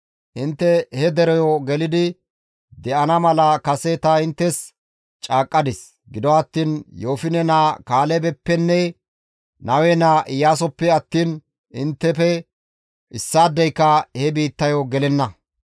Intte he dereyo gelidi de7ana mala kase ta inttes caaqqadis; gido attiin Yoofine naa Kaalebeppenne Nawe naa Iyaasoppe attiin inttefe issaadeyka he biittayo gelenna.